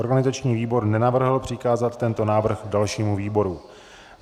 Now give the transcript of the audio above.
Organizační výbor nenavrhl přikázat tento návrh dalšímu výboru.